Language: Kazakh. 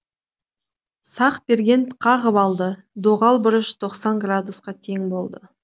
сақберген қағып алды доғал бұрыш тоқсан градусқа тең болады